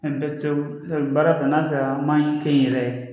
baara fana n'a sɔrɔ an ma kɛ n yɛrɛ ye